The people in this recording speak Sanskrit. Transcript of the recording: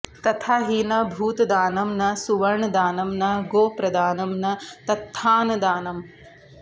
तथा हि न भूतदानं न सुवर्णदानं न गोप्रदानं न तथान्नदानम्